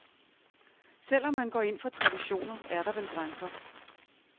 Selv om man går ind for traditioner, er der vel grænser.